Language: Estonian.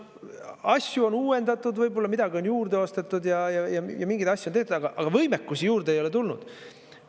Asju on uuendatud, võib-olla midagi on juurde ostetud ja mingeid asju on tehtud, aga võimekust juurde ei ole tulnud.